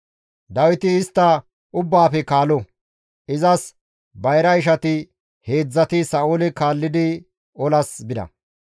Dawiti istta ubbaafe kaalo; izas bayra ishati heedzdzati Sa7oole kaallidi olaas bida.